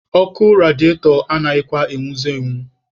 Ọkụ rediatọ anaghịkwa enwuzi enwu.